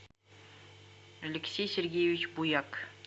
алексей сергеевич буяк